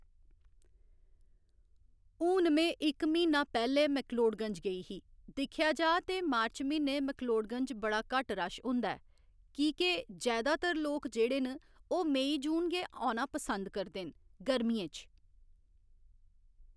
हून में इक म्हीना पैह्‌ले मैकलोटगंज गेई ही दिक्खेआ जा ते मार्च म्हीने मैकलोटगंज बड़ा घट्ट रश होंदा ऐ की के जैदातर लोक जेह्ड़े न ओह् मई जून गै आना पसंद करदे न गर्मियें च।